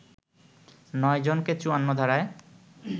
৯ জনকে ৫৪ ধারায়